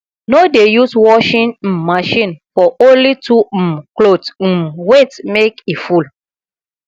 no dey use washing um machine for only two um cloth um wait make e full